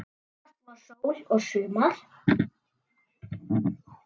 Oftast var sól og sumar.